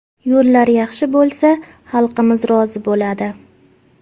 Yo‘llar yaxshi bo‘lsa, xalqimiz rozi bo‘ladi.